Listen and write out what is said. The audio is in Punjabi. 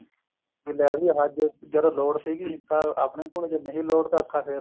ਵੀ ਲੈ ਵੀ ਅੱਜ ਜਦੋਂ ਲੋੜ ਸੀ ਤਦ ਆਪਣੇ ਕੋਲ ਜਦ ਨਹੀਂ ਲੋੜ ਸੀ ਤਾਂ ਅੱਖਾਂ